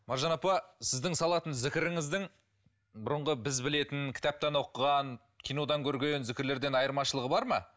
маржан апа сіздің салатын зікіріңіздің бұрынғы біз білетін кітаптан оқыған кинодан көрген зікірлерден айырмашылығы бар ма